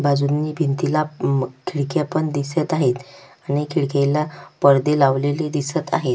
बाजूंनी भिंतीला अम खिडक्या पण दिसत आहेत आणि खिडक्याला पडदे लावलेले दिसत आहेत.